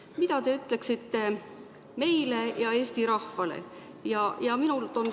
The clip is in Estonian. Mida te ütleksite meile ja Eesti rahvale?